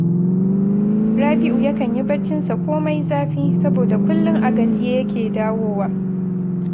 Rabi’u yakan yi barcinsa ko mai zafi, saboda kullum a gajiye yake dawowa